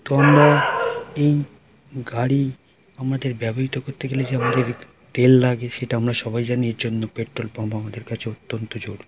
তোমরা-- এই গাড়ি আমাদের ব্যবহৃত করতে গেলে যে আমাদের তেল লাগে সেটা আমরা সবাই জানি এর জন্য পেট্রোল পাম্প আমাদের কাছে অত্যন্ত জোরু--